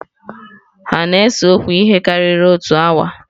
Hà na-ese okwu ihe karịrị otu awa?